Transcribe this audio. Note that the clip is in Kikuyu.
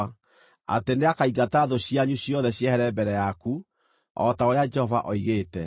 atĩ nĩakaingata thũ cianyu ciothe ciehere mbere yaku, o ta ũrĩa Jehova oigĩte.